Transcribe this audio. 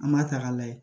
An b'a ta k'a lajɛ